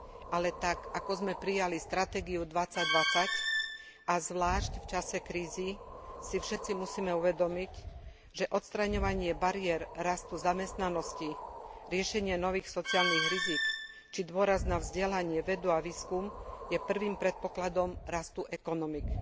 Ale tak ako sme prijali Stratégiu 2020 a zvlášť v čase krízy si všetci musíme uvedomiť, že odstraňovanie bariér rastu zamestnanosti, riešenie nových sociálnych rizík či dôraz na vzdelanie, vedu a výskum je prvým predpokladom rastu ekonomík.